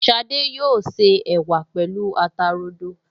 Ṣadé yóò se ẹ̀wà pẹ̀lú ata rodo